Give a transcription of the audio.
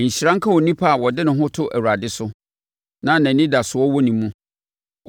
“Nhyira nka onipa a ɔde ne ho to Awurade so, na nʼanidasoɔ wɔ ne mu.